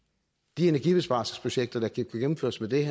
de energibesparelsesprojekter der kan gennemføres ved